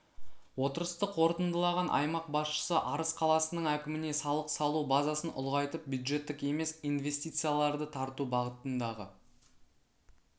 отырысты қорытындылаған аймақ басшысы арыс қаласының әкіміне салық салу базасын ұлғайтып бюджеттік емес инвестицияларды тарту бағытындағы